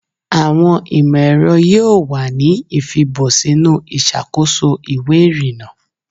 Awọn imọ-ẹrọ yoo wa ni ifibọ sinu iṣakoso iwe irinna